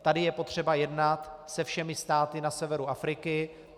Tady je potřeba jednat se všemi státy na severu Afriky.